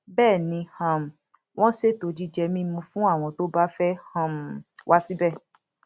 bẹẹ ni um wọn ṣètò jíjẹ mímu fún àwọn tó bá fẹẹ um wá síbẹ